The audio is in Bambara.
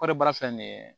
Kɔɔri baara filɛ nin ye